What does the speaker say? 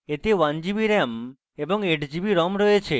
এতে 1gb ram এবং 8gb rom রয়েছে